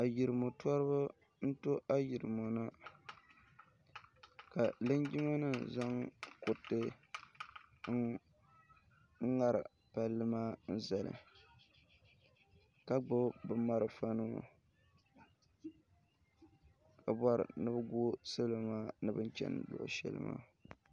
Ayirimo toriba n to ayirimo na ka linjima nima zaŋ kuriti n ŋari palli maa zali ka gbibi bɛ marafa nima ka bori ni bɛ gu salo maa bini cheni sheli maa.